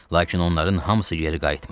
Lakin onların hamısı geri qayıtmır.